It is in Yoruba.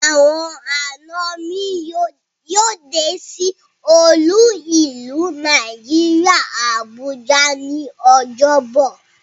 Awon ana mi yoo de si olu ilu Naijiria Abuja ni Ojobo